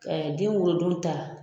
den wolodon ta